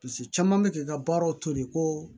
Paseke caman bɛ k'i ka baaraw to yen ko